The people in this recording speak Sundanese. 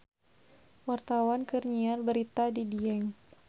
Wartawan keur nyiar berita di Dieng